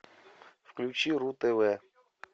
включи ру тв